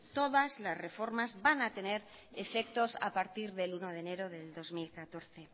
todas las reformas van a tener efectos a partir del uno de enero del dos mil catorce